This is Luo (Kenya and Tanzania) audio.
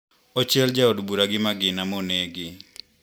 Ochiel jaod bura gi magina monegi.